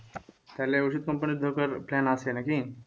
তাহলে ওষুধ company তে ঢোকার plan আছে নাকি?